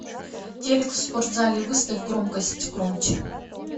телек в спортзале выставь громкость громче